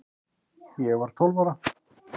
Ég var tólf ára